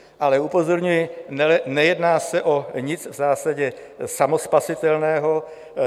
Ale upozorňuji, nejedná se o nic v zásadě samospasitelného.